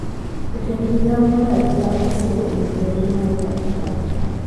Jo tend migao mar arita osiemo jo njore ma e pacho kae